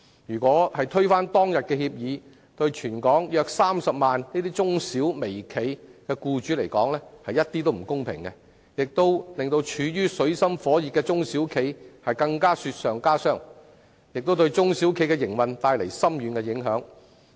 如果現時要推翻當日的協議，對於全港約30萬名中小微企的僱主絕不公平，亦會令處於水深火熱的中小企雪上加霜，對其營運帶來深遠影響。